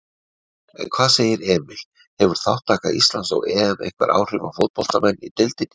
En hvað segir Emil, hefur þátttaka Íslands á EM einhver áhrif á fótboltamenn í deildinni?